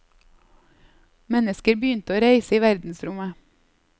Mennesker begynte å reise i verdensrommet.